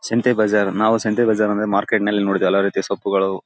ಸಂತೆ ಬಜಾರ್ ನಾವು ಸಂತೆ ಬಜಾರ್ ಅಂದ್ರೆ ಮಾರ್ಕೆಟ್ ನಲ್ಲಿ ನೋಡೀರ್ತ್ತೀವಿ ಎಲ್ಲ ರೀತಿ ಸೊಪ್ಪುಗಳು--